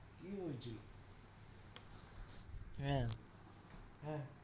কি হয়েছিলো? হ্যাঁ, হ্যাঁ।